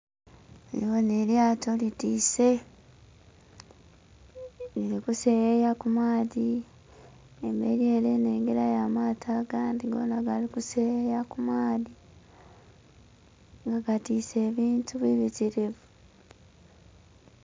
Ndhi bonha elyato litise lili kuseeyeya kumaadhi emberi ere nnhengelayo amaato agandhi gonha gali kuseeyeya kumaadhi nga gatise ebintu bibitirivu.